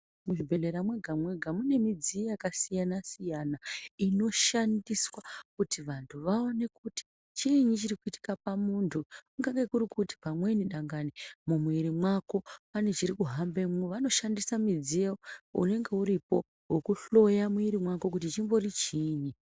Muzvibhehlera mwega-mwega mune midziyo yakasiyana-siyana inoshandiswa kuti vantu vaone kuti chiinyi chirikuitika pamuntu, ingadai kuri kuti pamweni dangani mumwiri mwako pane chirikuhambemwo, vanoshandisa mudziyo unenge uripo wekuhloya kuti chimbori chiinyi.